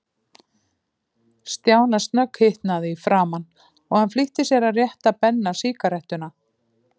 Stjána snögghitnaði í framan, og hann flýtti sér að rétta Benna sígarettuna.